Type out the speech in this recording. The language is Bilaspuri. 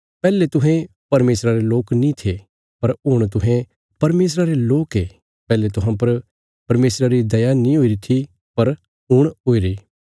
पैहले तुहें परमेशरा रे लोक नीं थे पर हुण तुहें परमेशरा रे लोक ये पैहले तुहां पर परमेशरा री दया नीं हुईरी थी पर हुण हुईरी